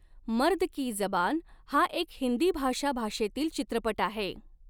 मर्द की जबान हा एक हिंदी भाषा भाषेतील चित्रपट आहे.